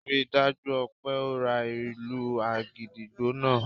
Rí i dájú o pé o ra ìlù àgídìgbo náà!